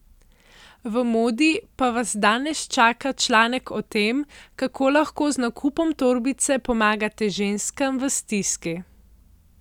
V Modi pa vas danes čaka članek o tem, kako lahko z nakupom torbice pomagate ženskam v stiski.